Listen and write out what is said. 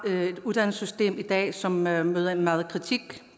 vi har et uddannelsessystem i dag som møder møder meget kritik